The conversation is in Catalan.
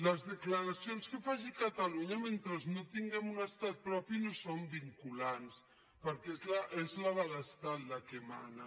les declaracions que faci catalunya mentre no tin·guem estat propi no són vinculants perquè és la de l’estat la que mana